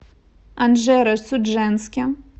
анжеро судженске